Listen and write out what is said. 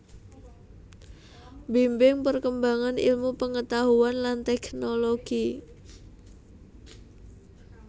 Mbimbing perkembangan ilmu pengetahuan lan teknologi